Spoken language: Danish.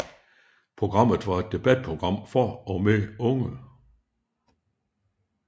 Programmet var et debatprogram for og med unge